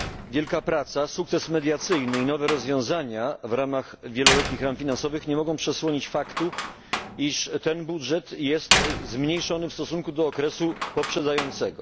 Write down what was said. Wielka praca, sukces mediacyjny i nowe rozwiązania w ramach wieloletnich ram finansowych nie mogą przesłonić faktu, iż ten budżet jest zmniejszony w stosunku do okresu poprzedzającego.